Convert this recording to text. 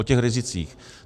O těch rizicích.